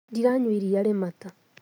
Ndiranyua iria rĩ mata